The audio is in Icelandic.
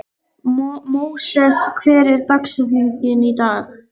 Móses, hver er dagsetningin í dag?